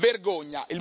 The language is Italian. Vergogna!